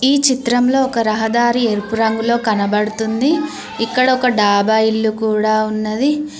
ఈ చిత్రంలో ఒక రహదారి ఎరుపు రంగులో కనబడుతుంది ఇక్కడ ఒక డాబా ఇల్లు కూడా ఉన్నది.